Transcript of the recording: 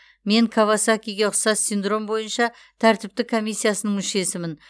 мен кавасакиге ұқсас синдром бойынша тәртіптік комиссиясының мүшесімін